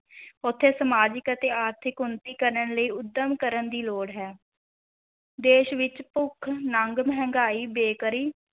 ਉੱਥੇ ਸਮਾਜਿਕ ਅਤੇ ਆਰਥਿਕ ਉੱਨਤੀ ਕਰਨ ਲਈ ਉੱਦਮ ਕਰਨ ਦੀ ਲੋੜ ਹੈ ਦੇਸ਼ ਵਿੱਚ ਭੁੱਖ, ਨੰਗ, ਮਹਿੰਗਾਈ, ਬੇਕਾਰੀ,